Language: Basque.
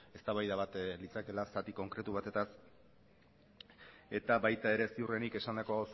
eztabaida bat litzakeela zati konkretu batetaz eta baita ere ziurrenik esandako